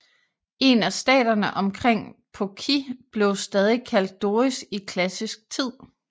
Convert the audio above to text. En af staterne omkring Phokis blev stadig kaldt Doris i klassisk tid